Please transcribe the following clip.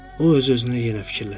O öz-özünə yenə fikirləşdi.